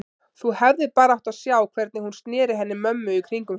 Þú hefðir bara átt að sjá hvernig hún sneri henni mömmu í kringum sig.